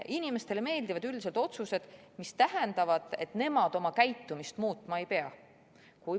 Inimestele meeldivad üldiselt otsused, mis tähendavad, et nemad oma käitumist muutma ei pea.